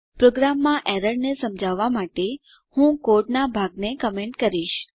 પ્રોગ્રામમાં એરર ને સમજાવવાં માટે હું કોડનાં ભાગને કમેન્ટ કરીશ